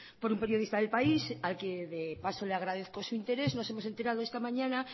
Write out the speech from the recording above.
por un periodista de el país al que de paso le agradezco su interés nos hemos enterado esta mañana